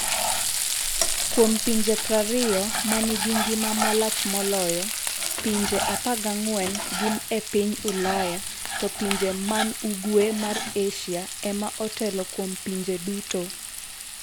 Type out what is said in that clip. Kuom pinje 20 ma nigi ngima malach moloyo, pinje 14 gin e piny Ulaya, to pinje man ugwe mar Asia ema otelo kuom pinje duto: